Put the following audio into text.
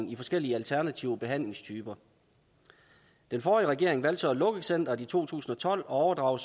i forskellige alternative behandlingstyper den forrige regering valgte at lukke centeret i to tusind og tolv og